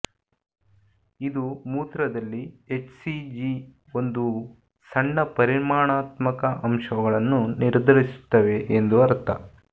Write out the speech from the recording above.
ಇದು ಮೂತ್ರದಲ್ಲಿ ಎಚ್ಸಿಜಿ ಒಂದು ಸಣ್ಣ ಪರಿಮಾಣಾತ್ಮಕ ಅಂಶಗಳನ್ನು ನಿರ್ಧರಿಸುತ್ತವೆ ಎಂದು ಅರ್ಥ